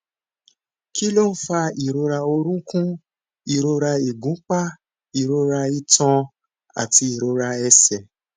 kí ló ń fa ìrora orunkun ìrora igunpa ìrora itan àti ìrora ẹsẹ